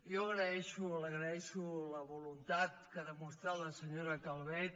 jo agreixo la voluntat que ha mostrat la senyora calvet